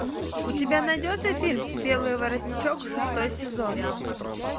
у тебя найдется фильм белый воротничок шестой сезон